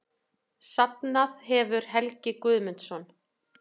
Safnað hefur Helgi Guðmundsson.